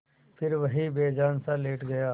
फिर वहीं बेजानसा लेट गया